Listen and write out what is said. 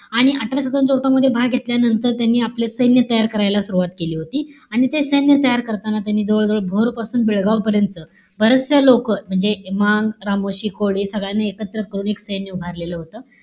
आणि अठराशे सत्तावन्न च्या उठावामध्ये भाग घेतल्यानंतर त्यांनी आपले सैन्य तयार करायला सुरवात केली होती. आणि ते सैन्य तयार करताना त्यांनी जवळजवळ भोरपासून बेळगाव पर्यंत, बरेचशे लोकं म्हणजे, मांग, रामोशी. कोळी सगळ्यांना एकत्र करून एक सैन्य उभारलेलं होत.